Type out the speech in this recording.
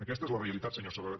aquesta és la realitat senyor sabaté